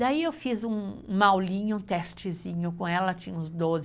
Daí eu fiz uma aulinha, um testezinho com ela, tinha uns doze anos,